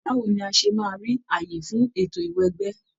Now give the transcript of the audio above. Báwo ni a ṣe máa rí àyè fún ètò ìwẹgbẹ́?